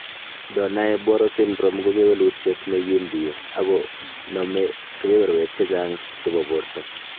Donnai Barrow syndrome ko kewelutiet nekindie ago nome keberberwek chechang' chebo borto.